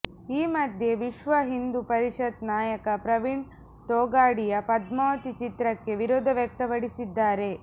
ಈ ಮಧ್ಯೆ ವಿಶ್ವ ಹಿಂದೂ ಪರಿಷತ್ ನಾಯಕ ಪ್ರವೀಣ್ ತೊಗಾಡಿಯಾ ಪದ್ಮಾವತಿ ಚಿತ್ರಕ್ಕೆ ವಿರೋಧ ವ್ಯಕ್ತಪಡಿಸಿದ್ದಾರೆ